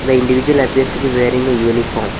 The individual appears to be wearing a uniform.